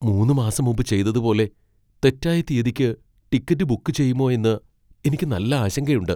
മൂന്ന് മാസം മുമ്പ് ചെയ്തതുപോലെ തെറ്റായ തീയതിക്ക് ടിക്കറ്റ് ബുക്ക് ചെയ്യുമോ എന്ന് എനിക്ക് നല്ല ആശങ്കയുണ്ട്.